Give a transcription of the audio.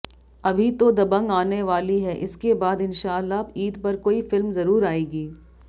अभी तो दबंग आने वाली है इसके बाद इंशाअल्लाह ईद पर कोई फिल्म जरूर आएगी